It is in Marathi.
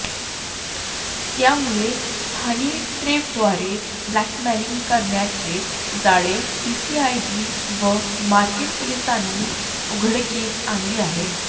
त्यामुळे हनीट्रैपद्वारे ब्लॅकमेलिंग करणाऱ्याचे जाळे सीसीआयबी व मार्केट पोलीसांनी उघडकीस आणले आहे